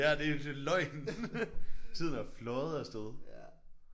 Ja det er det er løgn. Tiden er fløjet af sted